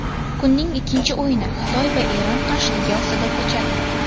Kunning ikkinchi o‘yini Xitoy va Eron qarshiligi ostida kechadi.